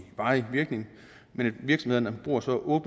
varig virkning men virksomhederne bruger så